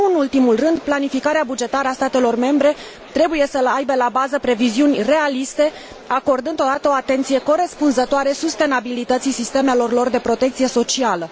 Și, nu în ultimul rând, planificarea bugetară a statelor membre trebuie să aibă la bază previziuni realiste, acordând totodată o atenție corespunzătoare sustenabilității sistemelor lor de protecție socială.